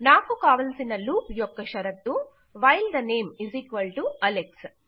నాకు కావలసిన లూప్ యొక్క షరతు వైల్ ద నేమ్అలెక్స్